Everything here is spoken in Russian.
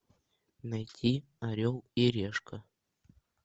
найти орел и решка